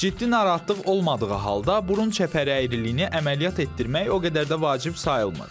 Ciddi narahatlıq olmadığı halda burun çəpəri əyriliyini əməliyyat etdirmək o qədər də vacib sayılmır.